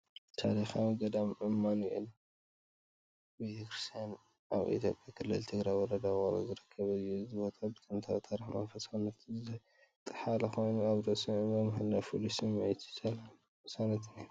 ታሪኻዊ ገዳም ማኑኤል ቤተክርስትያን ኣብ ኢትዮጵያ ክልል ትግራይ ወረዳ ውቕሮ ዝርከብ እዩ። እዚ ቦታ እዚ ብጥንታዊ ታሪኽን መንፈሳውነትን ዝጠሓለ ኮይኑ፡ ኣብ ርእሲ እምባ ምህላዉ ፍሉይ ስምዒት ሰላምን ቅሳነትን ይህብ።